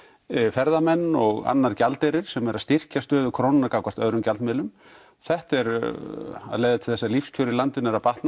ferðamenn og annar gjaldeyrir sem er að styrkja stöðu krónunnar gagnvart öðrum gjaldmiðlum þetta er að leiða til þess að lífskjör í landinu eru að batna